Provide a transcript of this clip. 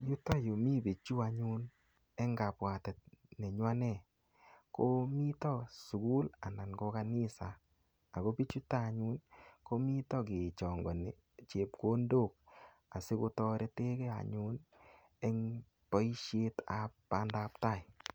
Yutoyu mii bichu anyun eng kabwatet nenyu anee, komitoi sukul anan ko kanisa. Ako bichuto anyun, komito kechangani chepkondok. Asikotoretekey anyun eng boisiet ab pandaptai.